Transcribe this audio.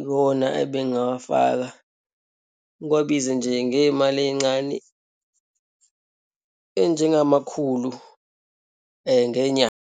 Iwona ebengingawafaka, ngiwabize nje ngeyimali eyincane eyinjengamakhulu ngenyanga.